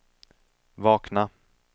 vakna